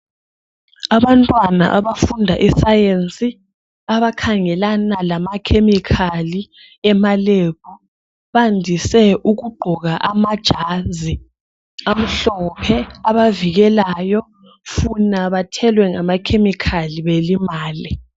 Abantwana abafunda isayensi, abakhangelana lamakhemikhali emalebhu, bandise ukugqoka amajazi amhlophe abavikelayo, funa bathelwe ngamakhemikhali belimale.